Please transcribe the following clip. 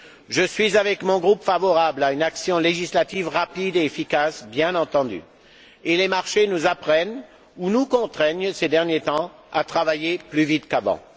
Je suis, avec mon groupe, favorable à une action législative rapide et efficace, bien entendu, et les marchés nous apprennent ou nous contraignent, ces derniers temps, à travailler plus vite qu'avant.